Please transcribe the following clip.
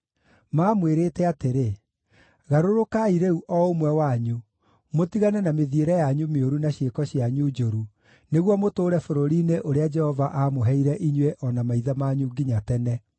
Maamwĩrĩte atĩrĩ, “Garũrũkai rĩu o ũmwe wanyu, mũtigane na mĩthiĩre yanyu mĩũru na ciĩko cianyu njũru, nĩguo mũtũũre bũrũri-inĩ ũrĩa Jehova aamũheire inyuĩ o na maithe manyu nginya tene.